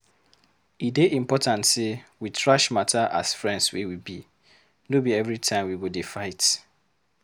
E dey important sey we trash matter as friends wey we be, no be every time we go dey fight